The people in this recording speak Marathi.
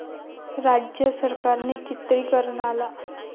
राज्य सरकारने चित्रिकरणाला